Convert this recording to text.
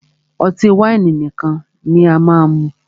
Ọtí wáìnì nìkan ni máà mú.